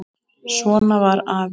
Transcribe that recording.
Svona var afi.